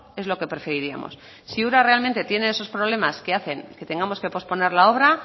es lo que preferiríamos si ura realmente tiene esos problemas que hacen que tengamos que posponer la obra